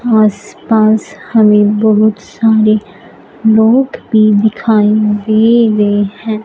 आसपास हमें बहुत सारे लोग भी दिखाई दे रहे हैं।